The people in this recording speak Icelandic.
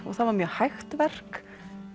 það var mjög hægt verk